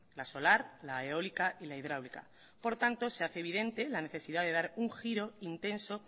la solar la eólica y la hidráulica por tanto se hace evidente la necesidad de dar un giro intenso